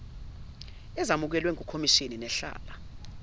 ezamukelwe ngukhomishani nehlala